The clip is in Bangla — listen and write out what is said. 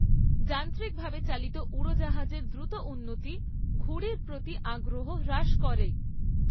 যান্ত্রিকভাবে চালিত উড়ো জাহাজের দ্রুত উন্নতি ঘুড়ির প্রতি আগ্রহ হ্রাস করে।